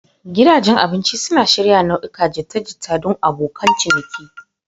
Gidajen abinci suna shirya nau'ikan jita-jita don abokan ciniki.